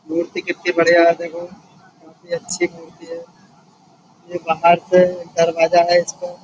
मूर्ति कितनी बढ़िया है देखो काफी अच्छी मूर्ति है। ये बाहर से दरवाजा है इसका --